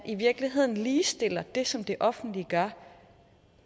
i virkeligheden ligestiller det som det offentlige gør